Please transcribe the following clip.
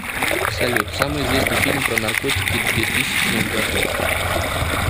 салют самый известный фильм про наркотики две тысячных годов